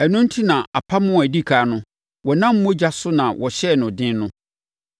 Ɛno enti na apam a ɛdi ɛkan no wɔnam mogya so na wɔhyɛɛ no den no.